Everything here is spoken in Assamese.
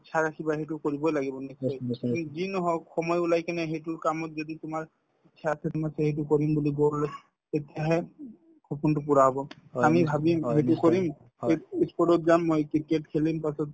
ইচ্ছা ৰাখিবা সেইটো কৰিবই লাগিব সি যি নহওঁক সময় ওলাই কিনে সেইটো কামত যদি তোমাৰ ইচ্ছা আছে তোমাৰ সেইটো কৰিম বুলি তেতিয়াহে সপোনতো পূৰা হব আমি ভাবিম সেইটো কৰিম এইটো ই sport তত যাম মই cricket খেলিম তাৰপিছত